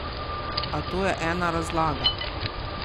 A to je ena razlaga.